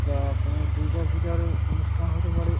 বা কোনো দূর্গা পূজারও অনুষ্ঠান হতে পারে।